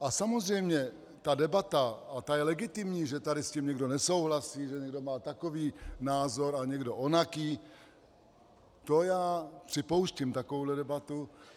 A samozřejmě ta debata, a ta je legitimní, že tady s tím někdo nesouhlasí, že někdo má takový názor a někdo onaký - to já připouštím, takovouhle debatu.